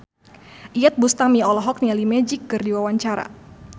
Iyeth Bustami olohok ningali Magic keur diwawancara